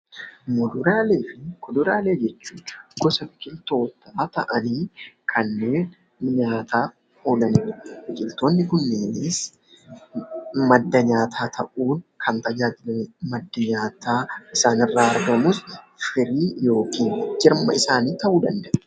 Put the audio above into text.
Kuduraalee fi muduraalee jechuun gosa biqiltootaa ta'anii kanneen nyaataaf oolan jechuudha. Biqiltoonni kunneenis madda nyaataa ta'uun kan tajaajilanidha. Maddi nyaataa isaan irraa argamus ija yookiin jirma isaanii ta'uu danda'a.